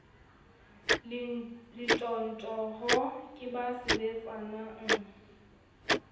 le ntjhotjho ke ba sebetsanang